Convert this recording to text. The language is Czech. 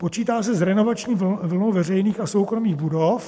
Počítá se s renovační vlnou veřejných a soukromých budov.